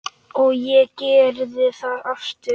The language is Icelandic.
Og ég gerði það aftur.